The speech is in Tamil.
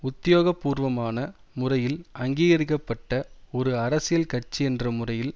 உத்தியோகபூர்வமான முறையில் அங்கீகரிக்க பட்ட ஒரு அரசியல் கட்சியென்ற முறையில்